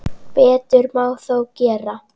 Betur má þó gera.